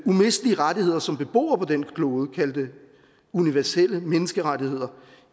umistelige rettigheder som beboere på denne klode kald det universelle menneskerettigheder